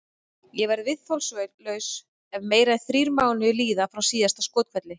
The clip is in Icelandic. Ég verð viðþolslaus ef meira en þrír mánuðir líða frá síðasta skothvelli.